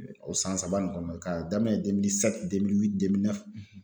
O san saba nin kɔnɔ k'a daminɛ